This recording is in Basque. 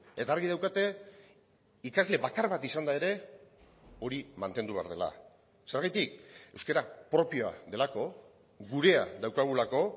eta argi daukate ikasle bakar bat izanda ere hori mantendu behar dela zergatik euskara propioa delako gurea daukagulako